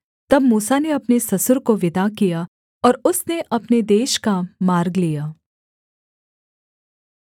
तब मूसा ने अपने ससुर को विदा किया और उसने अपने देश का मार्ग लिया